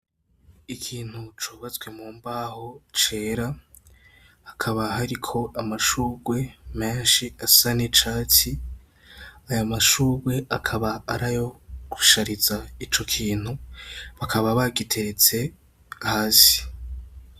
Ikintu cubatswe mu mbaho cera, hakaba hariko amashugwe menshi asa n'icatsi, ayo mashugwe akaba arayo gushariza ico kintu, bakaba bagiteretse hasi.